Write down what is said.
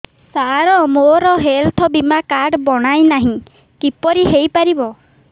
ସାର ମୋର ହେଲ୍ଥ ବୀମା କାର୍ଡ ବଣାଇନାହିଁ କିପରି ହୈ ପାରିବ